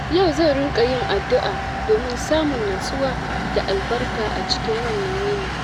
Yau zan riƙa yin addu’a domin samun nutsuwa da albarka a cikin wannan yini.